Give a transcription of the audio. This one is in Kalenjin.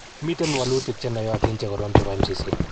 Miten wolutik che noyotin che korom chepo Mcc.